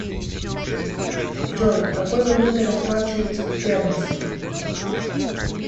джой какой валютой расплачиваются в гернси